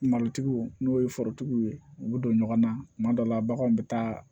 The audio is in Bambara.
Malotigiw n'o ye forotigiw ye u bɛ don ɲɔgɔn na kuma dɔ la baganw bɛ taa